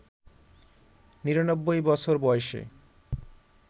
৯৯ বছর বয়সে